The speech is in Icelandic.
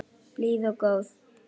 Blíð og góð.